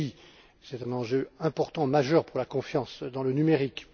Kelly c'est là un enjeu important majeur pour la confiance dans le numérique